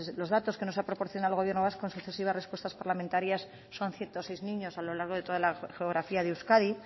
los datos que nos ha proporcionado el gobierno vasco en sucesivas respuestas parlamentarias son ciento seis niños a lo largo de toda la geografía de euskadi